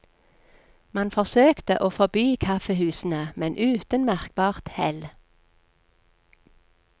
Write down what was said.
Man forsøkte å forby kaffehusene, men uten merkbart hell.